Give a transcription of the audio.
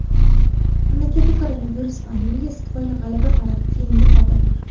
Mamlakatda koronavirus pandemiyasi tufayli G‘alaba paradi keyinga qoldirilgan .